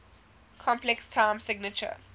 complex time signature